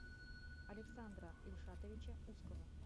александра ильшатовича ускова